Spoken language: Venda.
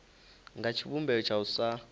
nga tshivhumbeo tsha u sa